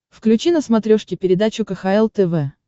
включи на смотрешке передачу кхл тв